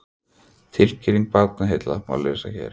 Tilkynningu Barnaheilla má lesa hér